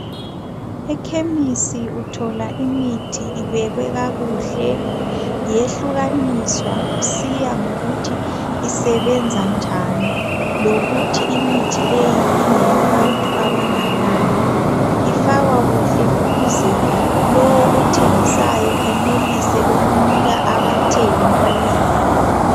Ekhemisi uthola imithi ibekwe kakuhle yehlukaniswa kusiya ngokuthi isebenza njani lokuthi imithi leyi ngeyabantu abanganani ifakwa kuhle ukuze lowo othengisayo enelise ukunika abathengi okuyikho.